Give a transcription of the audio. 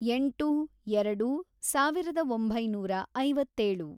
ಎಂಟು, ಎರಡು, ಸಾವಿರದ ಒಂಬೈನೂರ ಐವತ್ತೇಳು